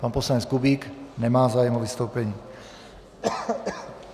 Pan poslanec Kubík nemá zájem o vystoupení.